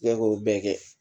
I ya k'o bɛɛ kɛ